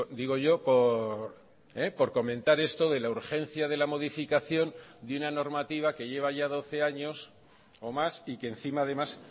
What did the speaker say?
digo yo por comentar esto de la urgencia de la modificación de una normativa que lleva ya doce años o más y que encima además